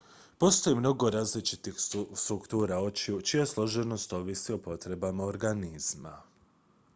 postoji mnogo različitih struktura očiju čija složenost ovisi o potrebama organizma